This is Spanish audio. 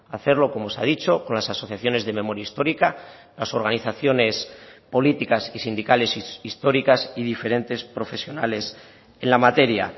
hacerlo como se ha dicho con las asociaciones de memoria histórica las organizaciones políticas y sindicales históricas y diferentes profesionales en la materia